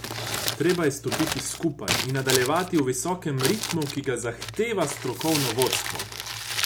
Treba je stopiti skupaj in nadaljevati v visokem ritmu, ki ga zahteva strokovno vodstvo.